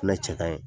Fɛnɛ cɛ ka ɲi